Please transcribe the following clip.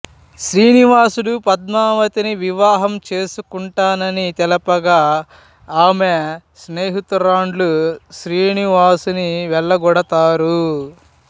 శ్రీనివాసుడు పద్మావతిని వివాహం చేసుకుంటానని తెలపగా ఆమె స్నేహితురాండ్లు శ్రీనివాసుని వెళ్లగొడతారు